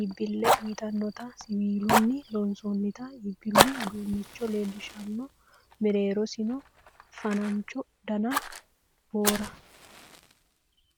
iibbille uyiitannota siwiilunni loonsoonnita iibbillu uduunnicho leellishshanno. Mereerosi fa'nancho dana boora.